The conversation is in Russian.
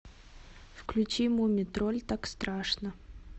включи мумий тролль так страшно